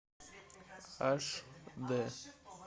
аш дэ